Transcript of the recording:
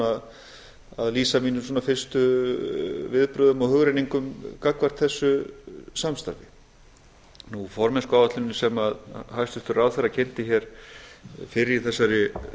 formennskuáætlunina að lýsa mínum fyrstu viðbrögðum og hugrenningum gagnvart þessu samstarfi formennskuáætlunin sem hæstvirtur ráðherra kynnti hér fyrr í